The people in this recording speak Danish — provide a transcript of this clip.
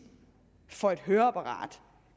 for et høreapparat